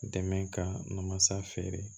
Dɛmɛ ka masa feere